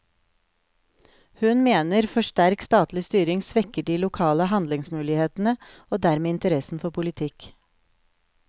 Hun mener for sterk statlig styring svekker de lokale handlingsmulighetene og dermed interessen for politikk.